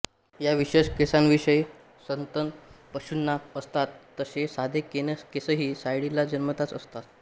या विशेष केसांशिवाय सस्तन पशूंना असतात तसे साधे केसही सायाळीला जन्मतःच असतात